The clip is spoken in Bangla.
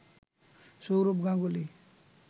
সৌরভ গাঙ্গুলি